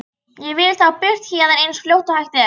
Ég vil þá burt héðan eins fljótt og hægt er.